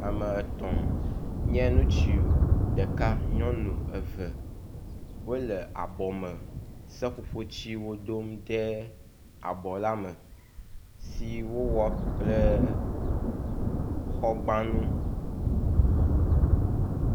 ame etɔ̃ nye ŋutsu ɖeka nyɔŋu eve wóle abɔ me seƒoƒo tsiwo dom ɖe abɔla me si wó wɔ kple xɔgbanu